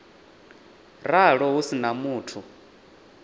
ralo hu si na muthu